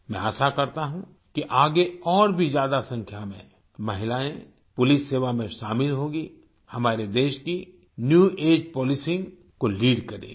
मैं आशा करता हूं कि आगे और भी ज्यादा संख्या में महिलाएं पुलिस सेवा में शामिल होंगी हमारे देश की न्यू एजीई पोलिसिंग को लीड करेंगी